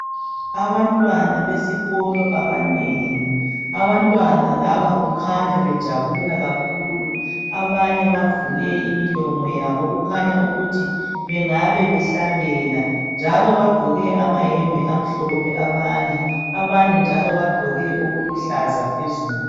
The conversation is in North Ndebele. Abantwana besikolo abanengi abantwana laba kukhanya bejabula kakhulu abanye bavule imilomo yabo okukhanya ukuthi bengabe behlabela njalo bagqoke amayembe amhlophe abanye abanye njalo bagqoke okuluhlaza phezulu.